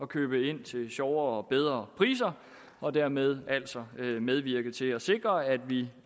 købe ind til sjovere og bedre priser og dermed altså medvirke til at sikre at vi